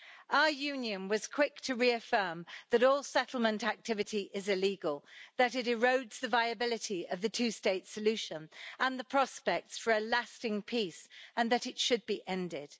Our Union was quick to reaffirm that all settlement activity is illegal, that it erodes the viability of the two state solution and the prospects for a lasting peace, and that it should be ended.